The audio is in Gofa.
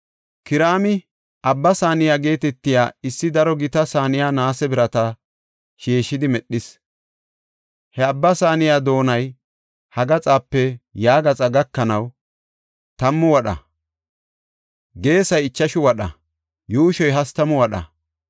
Kiraami Abba Saaniya geetetiya issi daro gita saaniya naase birata sheeshidi medhis. He Abba Saaniya doonay ha gaxape ya gaxa gakanaw tammu wadha; geesay ichashu wadha; yuushoy hastamu wadha.